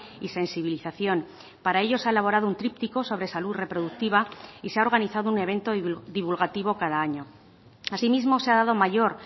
y sensibilización para ello se ha elaborado un tríptico sobre salud reproductiva y se ha organizado un evento divulgativo cada año asimismo se ha dado mayor